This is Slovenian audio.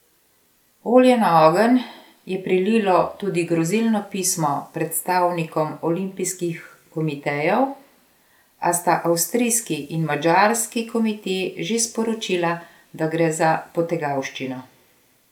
Olja na ogenj je prililo tudi grozilno pismo predstavnikom olimpijskih komitejev, a sta avstrijski in madžarski komite že sporočila, da gre za potegavščino.